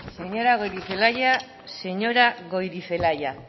hitza señora goirizelaia